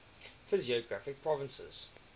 physiographic provinces